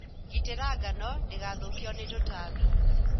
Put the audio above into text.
Gitĩra ngano ndĩgathokio ni tũtambi.